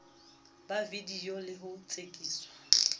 ba vidiyo le ho tsekiswa